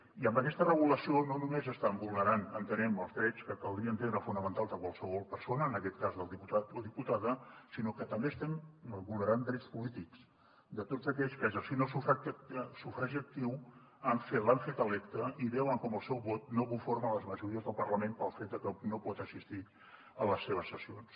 i amb aquesta regulació no només estan vulnerant entenem els drets que caldria entendre fonamentals de qualsevol persona en aquest cas del diputat o diputada sinó que també estem vulnerant drets polítics de tots aquells que exerceixen el seu sufragi actiu l’han fet electe i veuen com el seu vot no conforma les majories del parlament pel fet de que no pot assistir a les seves sessions